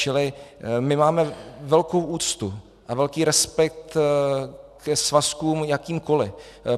Čili my máme velkou úctu a velký respekt ke svazkům jakýmkoli.